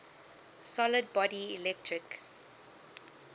solid body electric